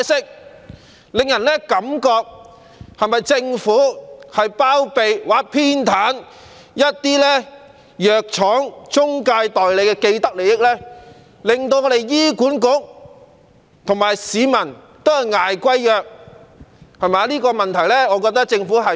這令人覺得政府是否在包庇或偏袒一些藥廠和中介代理的既得利益，令醫管局和市民均要負擔昂貴的藥費。